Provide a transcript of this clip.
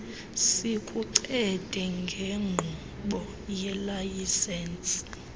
sikuncede ngenkqubo yelayisensi